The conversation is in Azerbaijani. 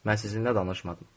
Mən sizinlə danışmadım.